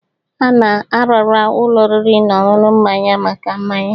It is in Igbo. A na-arara ụlọ oriri na ọṅụṅụ mmanya maka mmanya